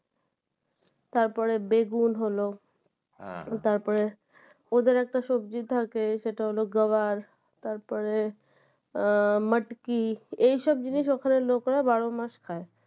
তারপরে বেগুন হল তারপরে ওদের একটা সবজি থাকে সেটা হল গাওয়ার তারপরে আহ মাটকি এসব জিনিস ওখানের লোকরা বারো মাস খায়